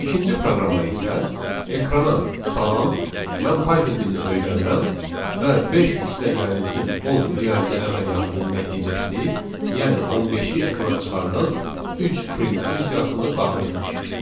İkinci proqrama isə ekrana salam, mən Python dilini öyrənirəm və beş üstəgəlsin on riyazi əməliyyatın nəticəsini, yəni on beşi ekrana çıxardan üç print funksiyasını daxil etmişik.